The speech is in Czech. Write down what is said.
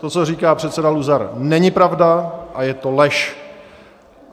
To, co říká předseda Luzar, není pravda a je to lež.